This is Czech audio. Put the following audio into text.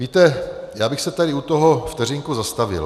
Víte, já bych se tady u toho vteřinku zastavil.